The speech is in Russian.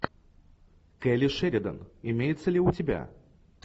келли шеридан имеется ли у тебя